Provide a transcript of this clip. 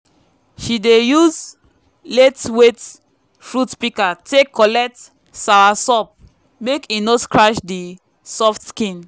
she dey use laitweight fruit pika tek collect soursop mek e no scratch di soft skin.